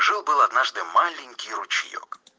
жил-был однажды маленький ручеёк